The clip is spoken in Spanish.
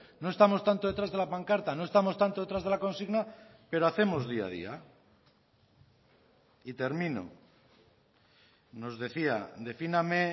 no estamos tanto detrás de la pancarta no estamos tanto detrás de la consigna pero hacemos día a día y termino nos decía defíname